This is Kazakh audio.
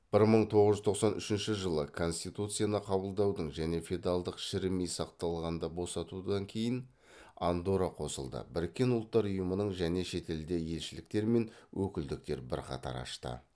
бір мың тоғыз жүз тоқсан үшінші жылы конституцияны қабылдаудың және феодалдық шірімей сақталғанды босатудан кейін андорра қосылды біріккен ұлттар ұйымының және шетелде елшіліктер мен өкілдіктер бірқатар ашты